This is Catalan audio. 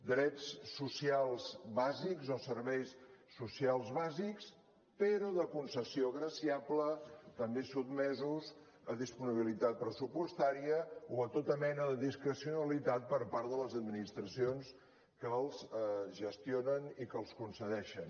drets socials bàsics o serveis socials bàsics però de concessió graciable també sotmesos a disponibilitat pressupostària o a tota mena de discrecionalitat per part de les administracions que els gestionen i que els concedeixen